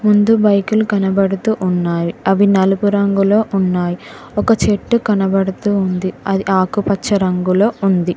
ముందు బైకులు కనబడుతూ ఉన్నావి అవి నలుగు రంగులో ఉన్నాయి ఒక చెట్టు కనబడుతూ ఉంది అది ఆకుపచ్చ రంగులో ఉంది.